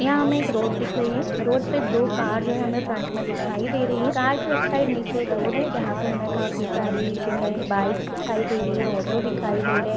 यहाँ हमें एक रोड दिख रही है रोड पे दो कार है जो हमें फ्रंट में दिखाई दे रही है कार के उस साइड नीचे एक रोड है जहाँ पे हमें काफी सारी जो है बाइक्स दिखाई दे रही है ऑटो दिखाई दे रहे हैं।